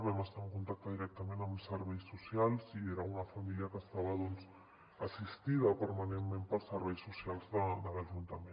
vam estar en contacte directament amb serveis socials i era una família que estava assistida permanentment pels serveis socials de l’ajuntament